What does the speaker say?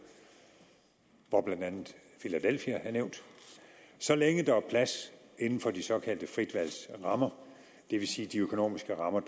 hvor blandt andet filadelfia er nævnt så længe der er plads inden for de såkaldte fritvalgsrammer det vil sige de økonomiske rammer